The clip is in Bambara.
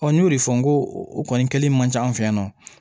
n y'o de fɔ n ko o kɔni kɛli man ca an fɛ yan nɔ